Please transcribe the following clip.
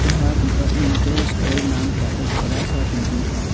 यहां departmental store नाम का एक बड़ा सा बिल्डिंग है।